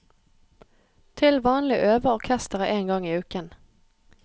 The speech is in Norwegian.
Til vanlig øver orkesteret én gang i uken.